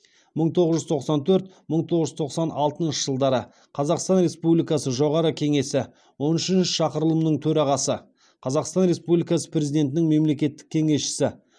мың тоғыз жүз тоқсан төрт мың тоғыз жүз тоқсан алтыншы жылдары қазақстан республикасы жоғарғы кеңесі он үшінші шақырылымының төрағасы қазақстан республикасы президентінің мемлекеттік кеңесшісі